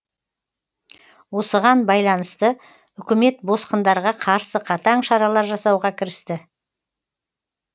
осыған байланысты үкімет босқындарға қарсы қатаң шаралар жасауға кірісті